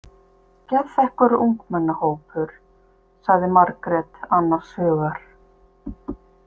Geðþekkur ungmennahópur, sagði Margrét annars hugar.